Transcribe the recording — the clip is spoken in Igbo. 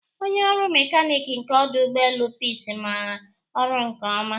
Onye ọrụ mekanik nke ọdụ ụgbọelu Peace maara ọrụ nke ọma